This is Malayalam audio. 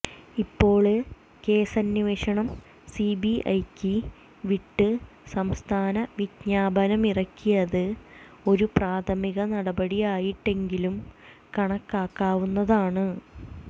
ഇപ്പോള് കേസന്വേഷണം സിബിഐക്ക് വിട്ട് സംസ്ഥാനം വിജ്ഞാപനമിറക്കിയത് ഒരു പ്രാഥമിക നടപടിയായിട്ടെങ്കിലും കണക്കാക്കാവുന്നതാണ്